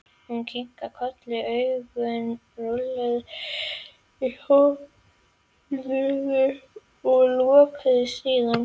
Hún kinkaði kolli, augun rúlluðu í höfðinu og lokuðust síðan.